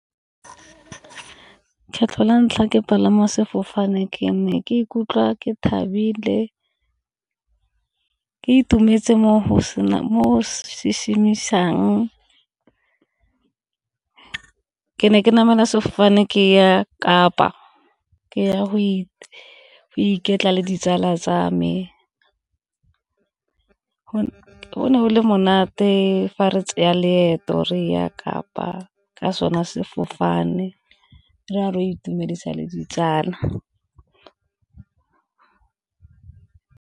Kgetlho la ntlha ke palama sefofane ke ne ke ikutlwa ke thabile le ke itumetse mo , ke ne ke namela sefofane ke ya Kapa ke ya go iketla le ditsala tsa me. Go ne go le monate fa re tseya leeto re ya Kapa ka sona sefofane re a re itumedisa le ditsala.